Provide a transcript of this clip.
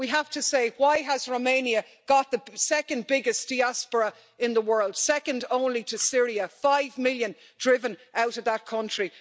We have to ask why Romania has got the second biggest diaspora in the world, second only to Syria five million driven out of that country.